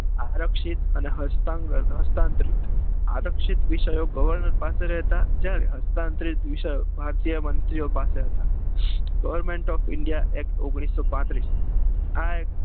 આરક્ષિત અને હસ્તાક્ષરન હસ્તાક્ષરિત આરક્ષિત વિષયો governor પાસે રહેતા હસતાં તરીત વિષયો ભારતીય મંત્રી પાસે હતા government of india act ઓગણીસો પાંત્રીસ act